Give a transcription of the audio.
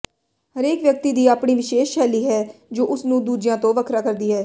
ਹਰੇਕ ਵਿਅਕਤੀ ਦੀ ਆਪਣੀ ਵਿਸ਼ੇਸ਼ ਸ਼ੈਲੀ ਹੈ ਜੋ ਉਸ ਨੂੰ ਦੂਜਿਆਂ ਤੋਂ ਵੱਖਰਾ ਕਰਦੀ ਹੈ